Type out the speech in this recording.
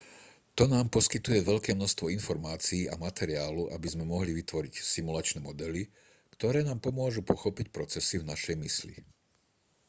toto nám poskytuje veľké množstvo informácií a materiálu aby sme mohli vytvoriť simulačné modely ktoré nám pomôžu pochopiť procesy v našej mysli